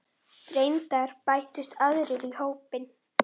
Reyndar bættust aðrir í hópinn.